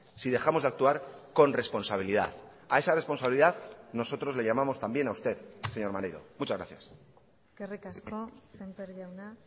si dejamos de actuar con responsabilidad a esa responsabilidad nosotros le llamamos también a usted señor maneiro muchas gracias eskerrik asko sémper jauna